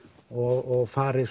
og fari